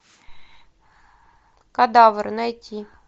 кадавр найти